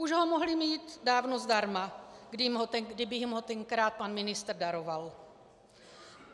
Už ho mohli mít dávno zdarma, kdyby jim ho tenkrát pan ministr daroval.